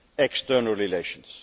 external relations.